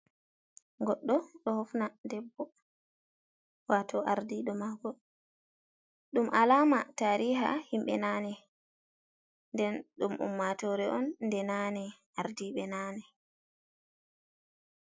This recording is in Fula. Godɗo ɗo hofna debbo wato ardiɗo mako ɗum alama tariha himɓe nane, nden ɗum ummatore on nde nane ardiɓe nane.